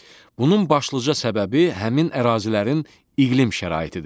Bunun başlıca səbəbi həmin ərazilərin iqlim şəraitidir.